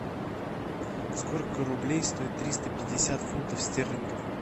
сколько рублей стоит триста пятьдесят фунтов стерлингов